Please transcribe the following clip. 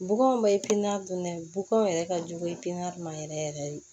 Bugɔn bɛ pini dunnen bɔgɔ yɛrɛ ka jugu i ye piniɲɛri ma yɛrɛ yɛrɛ yɛrɛ